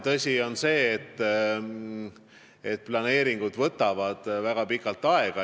Tõsi on see, et planeeringud võtavad väga pikalt aega.